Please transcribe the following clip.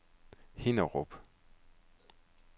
Hinnerup